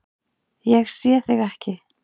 Ég sé þig ekki.